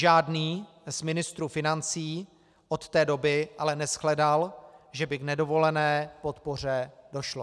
Žádný z ministrů financí od té doby ale neshledal, že by k nedovolené podpoře došlo.